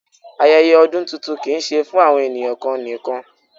Ayẹyẹ ọdún tuntun kìí ṣe fún àwọn ènìyàn kan nìkan.